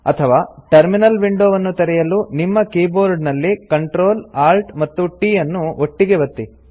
ಅಥವಾ ಟರ್ಮಿನಲ್ ವಿಂಡೋವನ್ನು ತೆರೆಯಲು ನಿಮ್ಮ ಕೀಬೋರ್ಡ್ ನಲ್ಲಿ Ctrl Alt ಮತ್ತು t ಅನ್ನು ಒಟ್ಟಿಗೆ ಒತ್ತಿ